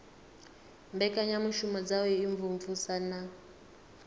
mbekanyamushumo dza u imvumvusa na